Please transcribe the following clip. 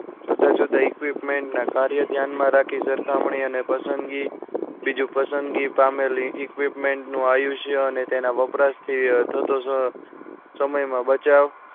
જુદા જુદા equipment ના કાર્ય ધ્યાન માં રાખી સરખામણી અને પસંદગી બીજું પસંદગી પામેલી equipment નું આયુષ્ય અને તેના વપરાશ થી થતો સમય માં બચાવ